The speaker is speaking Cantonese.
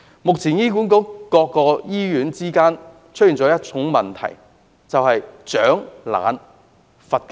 目前醫管局各醫院之間出現了一個問題，就是"賞懶罰勤"。